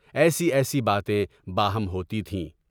ایسی ایسی باتیں باہم ہوتی تھیں۔